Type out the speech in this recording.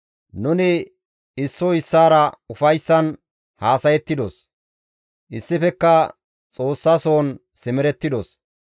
Nuni issoy issaara ufayssan haasayettidos; issifekka Xoossa soon simerettidos.